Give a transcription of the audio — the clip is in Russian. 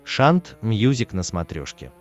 шант мьюзик на смотрешке